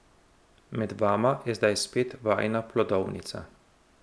Med vama je zdaj spet vajina plodovnica.